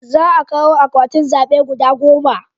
Za a kawo akwatin zabe guda goma